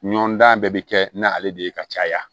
Ɲɔndan bɛɛ bɛ kɛ n'ale de ye ka caya